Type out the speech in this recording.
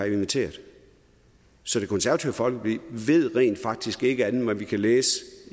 inviteret så det konservative folkeparti ved rent faktisk ikke andet end hvad vi kan læse